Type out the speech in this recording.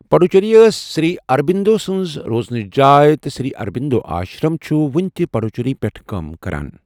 پڈوچیری ٲس سری اروبِندُو سنٛز روزنٕچ جاے تہٕ سری اروبندو آشرم چھُ وُنہِ تہِ پڈوچیری پٮ۪ٹھ کٲم کران۔